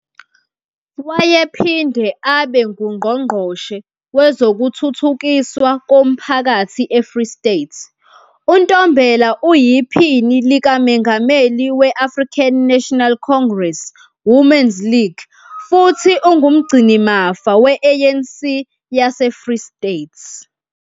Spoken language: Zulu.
Wayephinde abe nguNgqongqoshe Wezokuthuthukiswa Komphakathi eFree State. UNtombela uyiPhini likaMengameli we-African National Congress Women's League futhi ungumgcinimafa we-ANC yaseFree State.